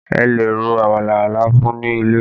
A lè ro àmàlà láfún ní ilẹ̀